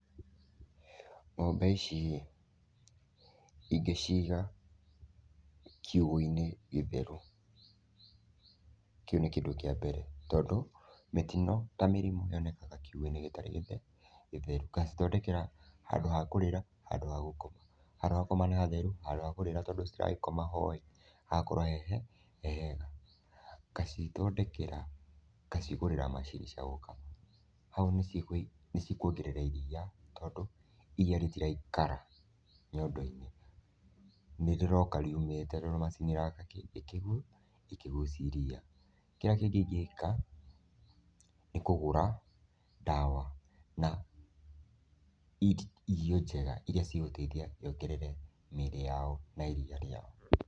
Ng'ombe ici ĩ, ingĩciga kiugũinĩ gĩtheru, kĩu nĩ kĩndũ kĩa mbere tondũ mĩtino ta mĩrimũ yonekaga kiugũ-inĩ gĩtarĩ gĩ gĩtheru, ngacithondekera handũ ha kũrĩĩra handũ ha gũkoma, handũ ha gũkoma nĩ hatheru, handũ ha hakũrĩra tondũ citiragĩkoma ho rĩ, hagakorwo hehe hehega, ngacithondekera ngacigũrĩra maciricaoka, hau nĩ cigũi nĩ cikwongerera iriia tondũ iriia rĩtiraikara nyondo-inĩ, nĩ rĩroka riumĩte tondũ macini ĩroka ĩkĩgu ĩkĩgucia iriia. Kĩrĩa kĩngĩ ingĩka nĩ kũgũra ndawa na irio njega iria cigũteithia yongerere mĩĩrĩ yao na iriia rĩao.